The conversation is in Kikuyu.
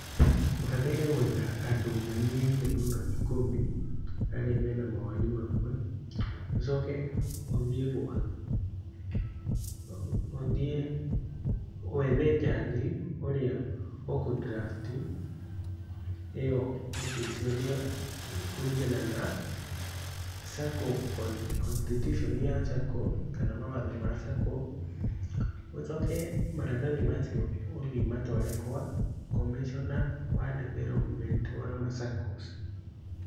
Ũbataire guetha andũ manyihĩire mũno ikũmi, arĩa marĩ na maoni mamwe, ũcoke ũthie wethe njanji ũrĩa ũkũ draft ĩo copy kũringana na Sacco constitution kana mawatho ma Sacco, ũcoke maratathi macio ũthiĩ ũmatũare kwa Commissioner wa Development wa ma Saccos.